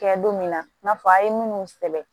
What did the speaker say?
Kɛ don min na i n'a fɔ a ye minnu sɛbɛn